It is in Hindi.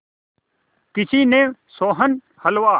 किसी ने सोहन हलवा